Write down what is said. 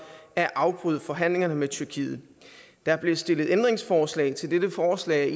at afbryde forhandlingerne med tyrkiet der blev stillet ændringsforslag til dette forslag